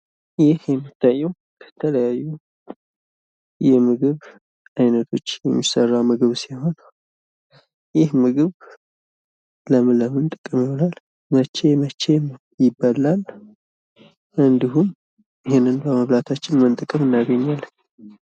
ይህ የሚታየው ከተለያዩ የምግብ አይነቶች የሚሰራ ምግብ ሲሆን ይህ ምግብ ለምን ለምን ጥቅም ይውላል? መቼ መቼ ይበላል? እንዲሁም ይህን በመብላታችን ምን ጥቅም እናገኛለን?